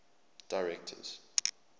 directors